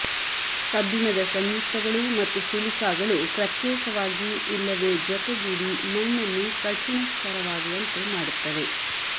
ಕಬ್ಬಿಣದ ಸಂಯುಕ್ತಗಳು ಮತ್ತು ಸಿಲಿಕಾಗಳು ಪ್ರತ್ಯೇಕವಾಗಿ ಇಲ್ಲವೆ ಜೊತೆಗೂಡಿ ಮಣ್ಣನ್ನು ಕಠಿಣ ಸ್ತರವಾಗುವಂತೆ ಮಾಡುತ್ತವೆ